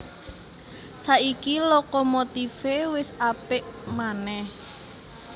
Saiki lokomotifé wis apik manèh